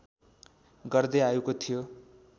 गर्दै आएको थियो